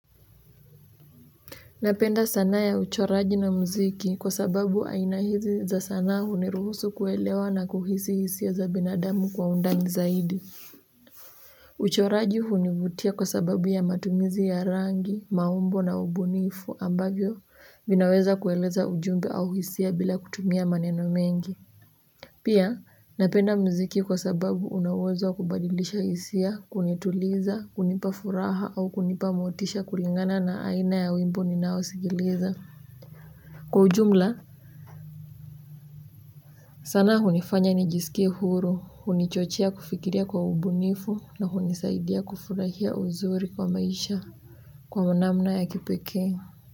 Napenda sanaa ya uchoraji na mziki kwa sababu aina hizi za sanaa huniruhusu kuelewa na kuhisi hisia za binadamu kwa undani zaidi uchoraji hunivutia kwa sababu ya matumizi ya rangi maumbo na ubunifu ambavyo vinaweza kueleza ujumbe au hisia bila kutumia maneno mengi pia napenda mziki kwa sababu una uwezo wa kubadilisha hisia kunituliza kunipa furaha au kunipa motisha kulingana na aina ya wimbo ninaosikiliza kwa ujumla sanaa hunifanya nijisikie huru hunichochea kufikiria kwa ubunifu na hunisaidia kufurahia uzuri kwa maisha kwa namna ya kipekee.